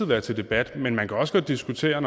være til debat men man kan også godt diskutere